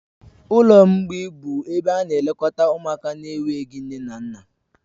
Ụlọ mgbịị bụ ebe na-elekọta ụmụaka na-enweghị nne na nna